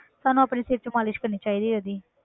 ਸਾਨੂੰ ਆਪਣੇ ਸਿਰ 'ਚ ਮਾਲਿਸ਼ ਕਰਨੀ ਚਾਹੀਦੀ ਹੈ ਇਹਦੀ।